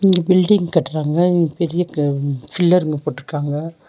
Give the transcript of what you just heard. இங்க பில்டிங் கட்ராங்க ம் பெரிய க ஃபில்லர்ங்க போட்டுருக்காங்க.